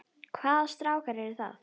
Hvaða strákar eru það?